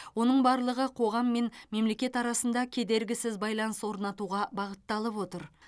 оның барлығы қоғам мен мемлекет арасында кедергісіз байланыс орнатуға бағытталып отыр